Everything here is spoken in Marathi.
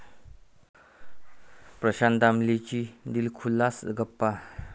प्रशांत दामलेंशी दिलखुलास गप्पा